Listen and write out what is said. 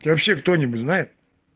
вообще кто-нибудь знает